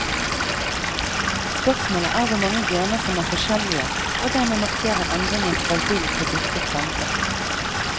Spørsmålet er hvor mange gener som er forskjellige, og dermed markerer endringen fra vill til dyrket plante.